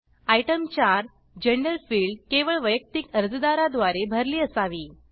item 4 gender field केवळ वैयक्तिक अर्जादारा द्वारे भरली असावी